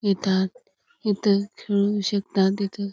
इथ इथ खेळू शकतात इथ.